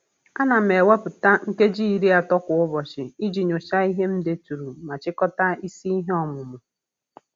Ana m ewepụta nkeji iri ato kwa ụbọchị iji nyochaa ihe m deturu ma chịkọta isi ihe ọmụmụ.